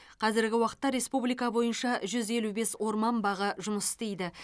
қазіргі уақытта республика бойынша жүз елу бес орман бағы жұмыс істейді